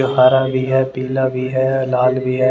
हारा भी है पीला भी है लाल भी है ।